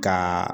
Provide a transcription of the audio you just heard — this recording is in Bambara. Ka